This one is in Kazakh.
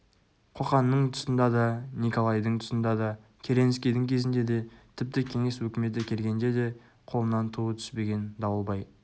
қоқанның тұсында да некалайдың тұсында да керенскийдің кезінде де тіпті кеңес өкіметі келгенде де қолынан туы түспеген дауылбай